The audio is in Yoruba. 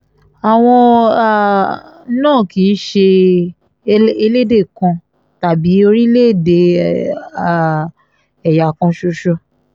àwọn um náà kì í ṣe ẹlẹ́dẹ̀ kan tàbí orílẹ̀-èdè um ẹ̀yà kan ṣoṣo